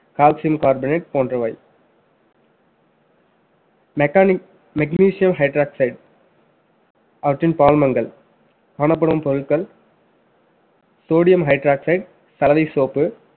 calcium carbonate போன்றவை mechanic~ magnesium hydroxide அவற்றின் பால்மங்கள் காணப்படும் பொருட்கள் sodium hydroxide சலவை soap